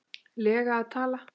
lega að tala?